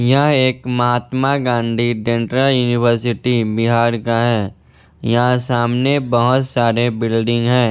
यह एक महात्मा गांधी डेंड्रा यूनिवर्सिटी बिहार का है यहां सामने बहुत सारे बिल्डिंग है।